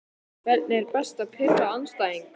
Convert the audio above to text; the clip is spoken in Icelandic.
Hvernig er best að pirra andstæðinginn?